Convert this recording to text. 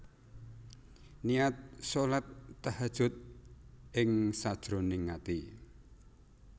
Niat shalat Tahajjud ing sajroning ati